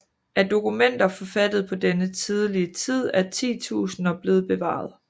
Af dokumenter forfattede på denne tidlige tid er titusinder blevet bevaret